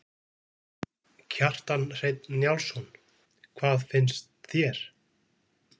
Kjartan Hreinn Njálsson: Hvað fannst þér?